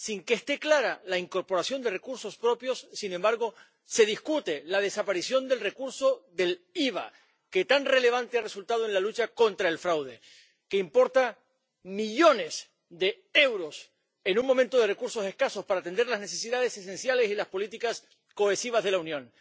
Sin que esté clara la incorporación de recursos propios, sin embargo se discute la desaparición del recurso del IVA, que tan relevante ha resultado en la lucha contra el fraude, que importa millones de euros en un momento de recursos escasos para atender las necesidades esenciales y las políticas cohesivas de la Unión.